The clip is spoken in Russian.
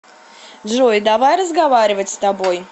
джой давай разговаривать с тобой